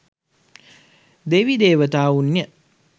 දෙවි දේවතාවුන් ය.